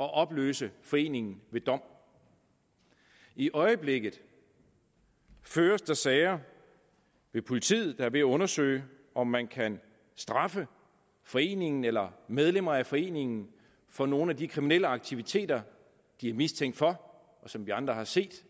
at opløse foreningen ved dom i øjeblikket føres der sager ved politiet der er ved at undersøge om man kan straffe foreningen eller medlemmer af foreningen for nogle af de kriminelle aktiviteter de er mistænkt for og som vi andre har set